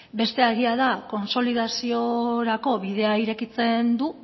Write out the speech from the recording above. bestea egia da kontsolidaziorako bidea irekitzen du